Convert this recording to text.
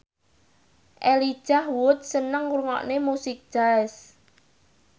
Elijah Wood seneng ngrungokne musik jazz